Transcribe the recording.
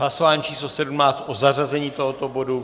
Hlasování číslo 17 o zařazení tohoto bodu.